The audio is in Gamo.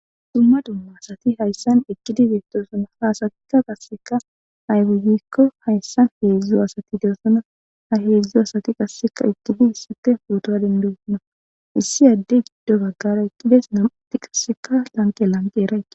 Dumma dumma asati haysan eqidi betosona , ha asatika qase ayihe gikon haysan hezdzdu asati dosona, ha hezdzdu asati qase besidi pota dendosona issi adeyi gido bagara eqidesi nam'ati qaseka lanqe lanqera eqida.